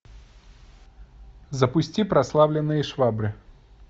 запусти прославленные швабры